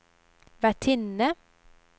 vertinne